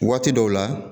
Waati dɔw la